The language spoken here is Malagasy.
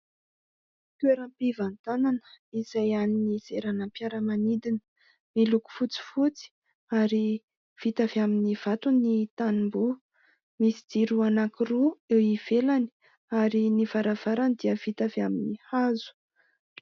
Toeram-pivantanana izay an'i fiaramanidina, miloko fotsifotsy ary vita avy amin'ny vato ny tamboho, misy jiro anakiroa eo ivelany ary n'y varavarana dia vita amin'ny hazo.